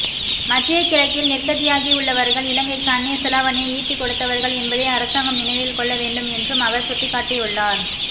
மத்திய கிழக்கில் நிர்க்கதியாகியுள்ளவர்கள் இலங்கைக்கு அந்நிய செலாவணியை ஈட்டிக்கொடுத்தவர்கள் என்பதை அரசாங்கம் நினைவில்கொள்ள வேண்டும் என்றும் அவர் சுட்டிக்காட்டியுள்ளார்